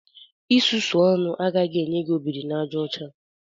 Isusu ọnụ agaghị enye gị obiri-na-aja ocha